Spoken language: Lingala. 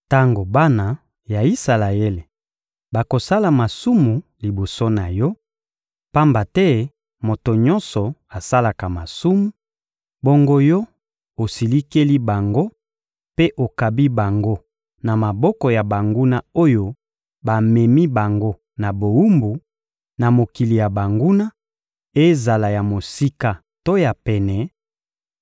Tango bana ya Isalaele bakosala masumu liboso na Yo, pamba te moto nyonso asalaka masumu, bongo Yo osilikeli bango mpe okabi bango na maboko ya banguna oyo bamemi bango na bowumbu, na mokili ya banguna, ezala ya mosika to ya pene,